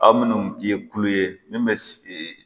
Aw minnu ye kulo ye min bɛ